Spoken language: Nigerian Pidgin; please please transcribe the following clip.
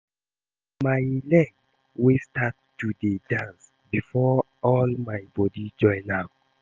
Na my leg wey start to dey dance before all my body join am